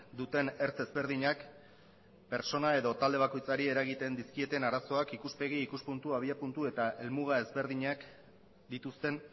duten ertz ezberdinak pertsona edo talde bakoitzari eragiten dizkieten arazoak ikuspegi ikuspuntu abiapuntu eta helmuga ezberdinak dituzten